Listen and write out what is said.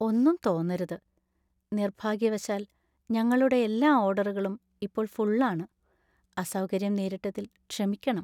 ഒന്നും തോന്നരുത്, നിർഭാഗ്യവശാൽ, ഞങ്ങളുടെ എല്ലാ ഓർഡറുകളും ഇപ്പോൾ ഫുള്‍ ആണ്. അസൗകര്യം നേരിട്ടതില്‍ ക്ഷമിക്കണം.